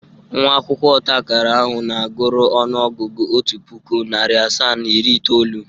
Nwa akwụkwọ ọtaakara ahụ na-agụrụ ọnụ ọgụgụ otu pụkụ, narị asaa na iri itoolu.